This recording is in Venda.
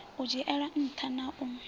u dzhielwa nṱha na u